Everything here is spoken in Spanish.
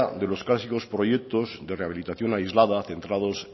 de los clásicos proyectos de rehabilitación aislada centrado